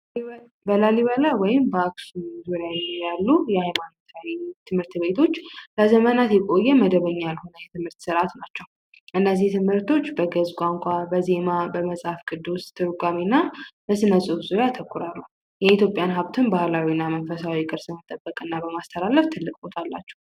በላሊበላ ወይም በአክሱም ዙሪያ ያሉ ሃይማኖታዊ ትምህርት ቤቶች ለዘመናት የቆየ መደበኛ የትምህርት ስርአት ናቸው እነዚህ ትምህርቶች በግዕዝ ቋንቋ በዜማ በመጽሐፍ ቅዱስ ትርጓሜና በስነፅሁፍ ዙሪያ ያተኮራሉ። የኢትዮጵያን ቅርስን ባህልን በማስጠበቅ ይታወቃሉ።